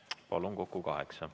Palun, kokku kaheksa minutit.